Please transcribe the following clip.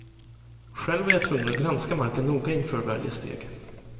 Själv var jag tvungen att granska marken noga inför varje steg.